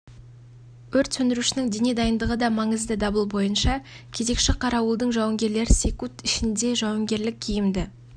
өрт сөндірушінің дене дайындығы да маңызды дабыл бойынша кезекші қарауылдың жауынгерлері секунд ішінде жауынгерлік киімді